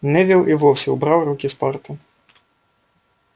невилл и вовсе убрал руки с парты